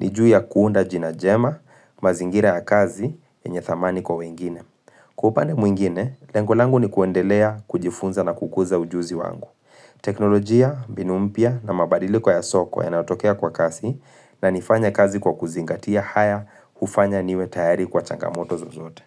ni juu ya kuunda jina jema, mazingira ya kazi, enye thamani kwa wengine. Kwa upande mwingine, lengo langu ni kuendelea, kujifunza na kukuza ujuzi wangu. Teknolojia, mbinu mpya na mabadiliko ya soko yanatokea kwa kasi inanifanya kazi kwa kuzingatia haya hufanya niwe tayari kwa changamoto zozote.